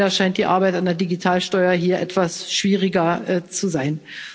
Leider scheint die Arbeit an einer Digitalsteuer hier etwas schwieriger zu sein.